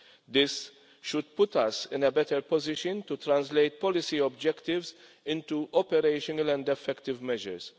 This should put us in a better position to translate policy objectives into operational and effective measures.